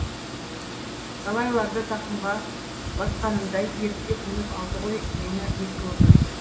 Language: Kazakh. талайларды тақымға басқанындай ерттеп мініп алды ғой мені ескі өмір